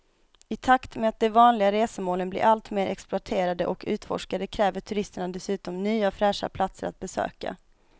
I takt med att de vanliga resmålen blir allt mer exploaterade och utforskade kräver turisterna dessutom nya fräscha platser att besöka.